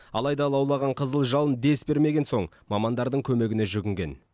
алайда лаулаған қызыл жалын дес бермеген соң мамандардың көмегіне жүгінген